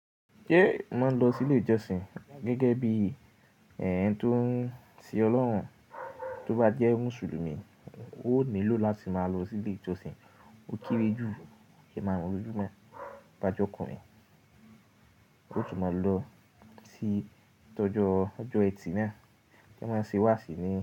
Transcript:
Ṣé màá lọ sí ilé ìjọsìn gẹ́gẹ́ bí ẹ̀yán tó ń sin Ọlọ́run, tó bá jẹ́ Mùsùlùmí, ó nílò láti máa lọ sí ilé ìjọsìn ó kéré jù kí a máa mọ ojú mọ́. Bajẹ́ ọkùnrin, ó tún máa lọ sí ìtọ́jọ́ ọjọ́ ẹtì náà kí wọ́n máa sì wàási ni.